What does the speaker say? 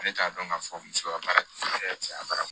Ale t'a dɔn k'a fɔ muso ka baarakɛ cɛ bara